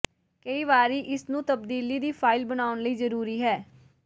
ਕਈ ਵਾਰੀ ਇਸ ਨੂੰ ਤਬਦੀਲੀ ਦੀ ਫਾਇਲ ਬਣਾਉਣ ਲਈ ਜ਼ਰੂਰੀ ਹੈ